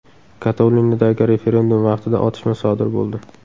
Kataloniyadagi referendum vaqtida otishma sodir bo‘ldi.